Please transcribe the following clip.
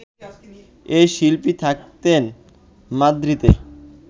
এ শিল্পী থাকতেন মাদ্রিদে